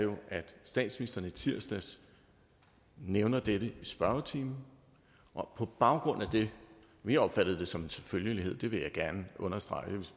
statsministeren i tirsdags nævnte dette i spørgetimen og på baggrund af det vi opfattede det som en selvfølgelighed det vil jeg gerne understrege